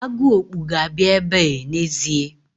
Agụokpu ga-abịa ebe n'ezie.